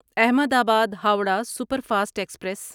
احمد آباد Howrah super fast express